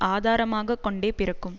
ஆதாரமாக கொண்டே பிறக்கும்